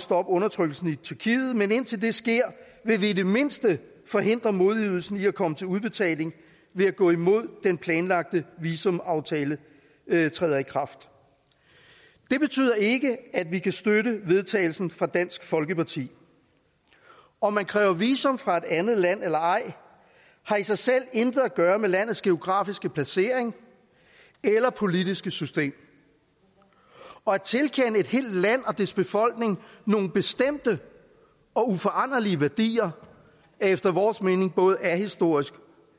stoppet undertrykkelsen i tyrkiet men indtil det sker vil vi i det mindste forhindre modydelsen i at komme til udbetaling ved at gå imod at den planlagte visumaftale træder i kraft det betyder ikke at vi kan støtte forslaget vedtagelse fra dansk folkeparti om man kræver visum fra et andet land eller ej har i sig selv intet at gøre med landets geografiske placering eller politiske system og at tilkende et helt land og dets befolkning nogle bestemte og uforanderlige værdier er efter vores mening både ahistorisk